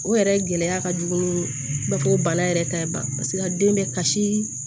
O yɛrɛ gɛlɛya ka jugu ni bɛ ko bana yɛrɛ ta ye paseke den bɛ kasi